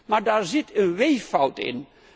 Maar daar zit een weeffout in.